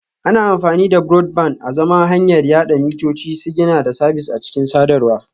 Ana amfani da Broadband azaman hanyar yada mitoci, sigina da sabis a cikin sadarwa